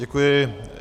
Děkuji.